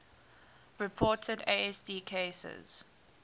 reported asd cases